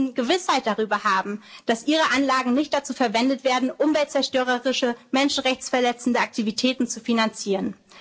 gelten. Menschen müssen Gewissheit darüber haben, dass ihre Anlagen nicht dazu verwendet werden, umweltzerstörerische, menschenrechtsverletzende Aktivitäten